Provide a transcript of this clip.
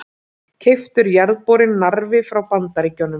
Keyptur jarðborinn Narfi frá Bandaríkjunum.